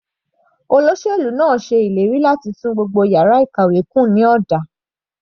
Olóṣèlú náà ṣe ìlérí láti tún gbogbo yàrá ìkàwé kùn ní ọ̀dà.